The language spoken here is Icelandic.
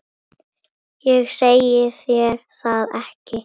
Ég segi þér það ekki.